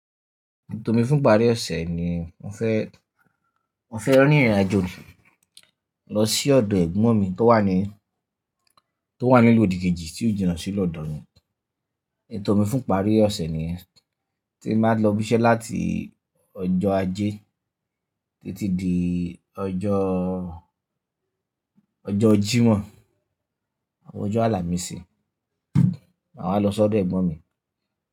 Ètò mi fún ìparí ọ̀sẹ̀ ni mo fẹ́, mo fẹ́ rí ní ìrìnàjò lọ sí ọ̀dọ̀ ẹ̀gbọ́n mi tó wà ní, tó wà ní ìlú òdìkejì tí ó jìnà sí lọ́dọ̀ mi. Ètò mi fún ìparí ọ̀sẹ̀ ni yen ti mba lọ bísẹ́ láti ọjọ́ ajé títí di ọjọ́, ọjọ́ Jímọ̀, àwọn ọjọ́ Àlàmísì. Màá wá lọ sí ọ̀dọ̀ ẹ̀gbọ́n mi.